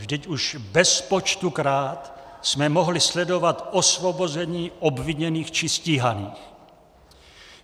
Vždyť už bezpočtukrát jsme mohli sledovat osvobození obviněných či stíhaných.